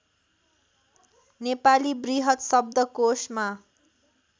नेपाली बृहत् शब्दकोशमा